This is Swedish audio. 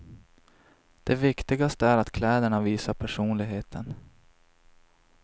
Det viktigaste är att kläderna visar personligheten.